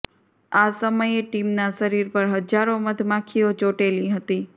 આ સમયે ટિમના શરીર પર હજારો મધમાખીઓ ચોંટેલી હતી